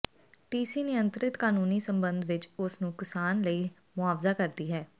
ਟੀਸੀ ਨਿਯੰਤ੍ਰਿਤ ਕਾਨੂੰਨੀ ਸੰਬੰਧ ਵਿੱਚ ਉਸ ਨੂੰ ਨੁਕਸਾਨ ਲਈ ਮੁਆਵਜ਼ਾ ਕਰਦੀ ਹੈ